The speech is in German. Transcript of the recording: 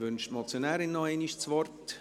Wünscht die Motionärin noch einmal das Wort?